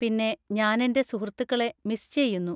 പിന്നെ ഞാൻ എന്‍റെ സുഹൃത്തുക്കളെ മിസ് ചെയ്യുന്നു.